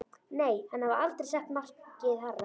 Nei, hann hafði aldrei sett markið hærra.